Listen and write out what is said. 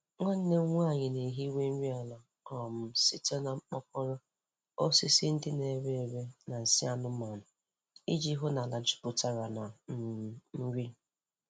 Nwanne m nwanyị na-ehiwa nri ala um site na mkpokoro, osisi ndị na-ere ere na nsị anụmanụ iji hụ na ala jupụtara na um nri.